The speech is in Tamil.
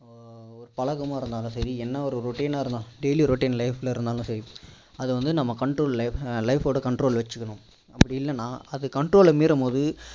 ஒரு பழக்கமா இருந்தாலும் சரி என்ன ஒரு routine னா இருந்தாலும் daiy routine life ல இருந்தாலும் சரி அது வந்து நம்ம control ல அஹ் life ஓட control ல வச்சிக்கனும் அப்படி இல்லன்னா அது control ல மீறும் போது